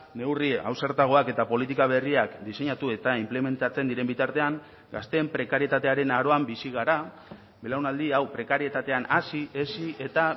neurri ausartagoak eta politika berriak diseinatu eta inplementatzen diren bitartean gazteen prekarietatearen aroan bizi gara belaunaldi hau prekarietatean hazi hezi eta